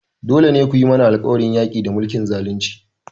Dole ne ku yi mana alƙawarin yaƙi da mulkin zalunci!